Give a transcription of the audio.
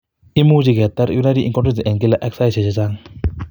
Imuche keter urinary incontinence en kila ak saisiek chachang